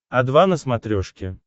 о два на смотрешке